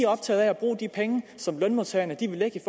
optaget af at bruge de penge som lønmodtagerne vil lægge i